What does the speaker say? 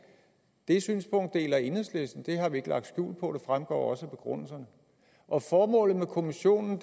det synspunkt deler enhedslisten det har vi ikke lagt skjul på og det fremgår også af begrundelserne og formålet med kommissionen